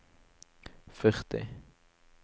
førti